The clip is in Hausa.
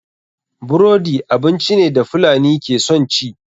Burodi abinci ne da fulani ke son ci.